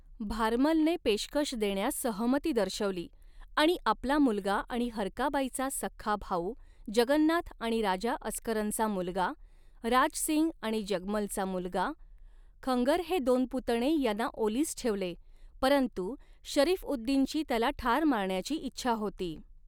भारमलने पेशकश देण्यास सहमती दर्शवली आणि आपला मुलगा आणि हरकाबाईचा सख्खा भाऊ, जगन्नाथ आणि राजा अस्करनचा मुलगा, राज सिंग आणि जगमलचा मुलगा, खंगर हे दोन पुतणे यांना ओलीस ठेवले परंतु शरीफ उद दिनची त्याला ठार मारण्याची इच्छा होती.